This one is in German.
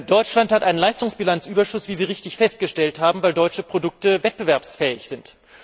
Deutschland hat einen Leistungsbilanzüberschuss, wie Sie richtig festgestellt haben, weil deutsche Produkte wettbewerbsfähig sind.